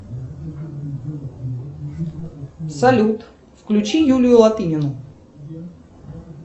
салют включи юлию латынину